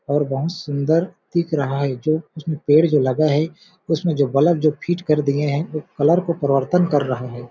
और बहुत सुन्दर दिख रहा है जो उसमें पेड़ जो लगा है उसमें जो बलब जो फिट कर दिए है वो कलर को परिवर्तन कर रहा है।